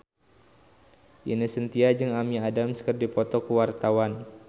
Ine Shintya jeung Amy Adams keur dipoto ku wartawan